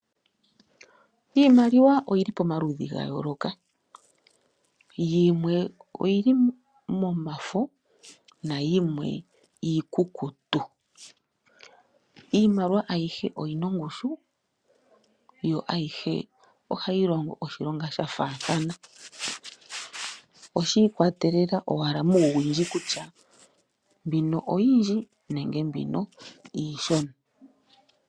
Iimaliwa oyili pomaludhi gayoloka, puna iimaliwa iikukutu niimaliwa yomafo niimaliwa mbika ayihe oyina ongushu, yo ohayi longo oshilonga sha faathana, oshiikwatelela ashike muuwindji kutya mbino oyindji nenge mbino iishona.